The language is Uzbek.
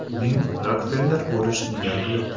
Uning Rokfeller bo‘lish niyati yo‘q.